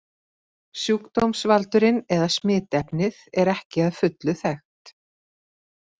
Sjúkdómsvaldurinn eða smitefnið er ekki að fullu þekkt.